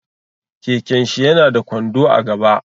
Keken shi ya na da kwando a gaba